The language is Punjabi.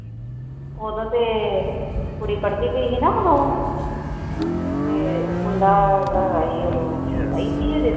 ਉਦੋਂ ਤੇ ਕੁੱੜੀ ਪੱੜਦੀ ਪਈ ਸੀ ਨਾ ਉਦੋਂ ਤੇ ਮੁੰਡਾ ਜਿਹੜਾ ਆਈ ਜਦੋਂ ਛੋਟਾ ਹੀ ਸੀ ਅਜੇ।